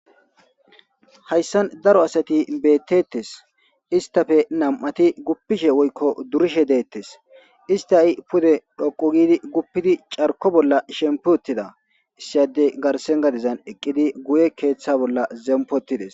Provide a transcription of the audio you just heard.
Hayssan daro asati beettettes istafe nam'ati guppishe woykko durishe deettes ista i pude dhoqo gidi guppidi carko bolla shempi ottida issiyadey garsen gadizan eqqidi guye keeththa bolla zempotides.